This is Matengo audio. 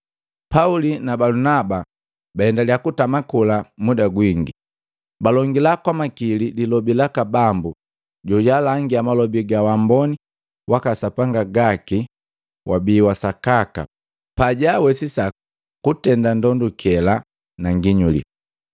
Pauli na Balunaba baendalia kutama kola muda gwini. Balongila kwamakili lilobi laka Bambu jojalangia malobi ga waamboni waka Sapanga gaki wabii wasakaka pajaawesisa kutenda ndondukela na nginyuli.